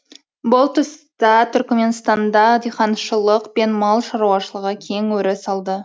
бұл тұста түрікменстанда диқаншылық пен мал шаруашылығы кең өріс алды